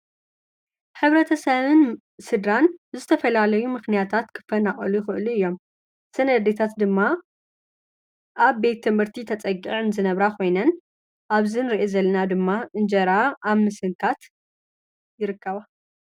ሕብረተ ሰብን ስድራን ዝተፈላለዩ ምኽንያታት ክፈናቐሉ ይኽእሉ እዮም፡፡ ስድታት ድማ ኣብ ቤት ትምህርቲ ተፀጊዐን ዝነብራ ኾይነን ኣብዚ ንርአ ዘለና ድማ እንጀራ ኣብ ምስንካት ይርከባ፡፡